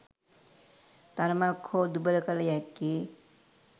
තරමක් හෝ දුබල කළ හැක්කේ